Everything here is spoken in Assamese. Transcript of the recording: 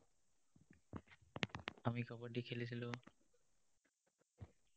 আমি কাবাডী খেলিছিলো।